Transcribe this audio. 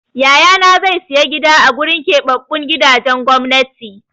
Yayana zai sayi gida a gurin keɓaɓɓun gidajen gwamnati.